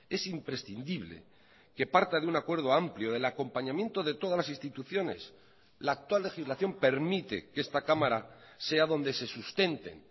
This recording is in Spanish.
es imprescindible que parta de un acuerdo amplió del acompañamiento de todas las instituciones la actual legislación permite que esta cámara sea donde se sustenten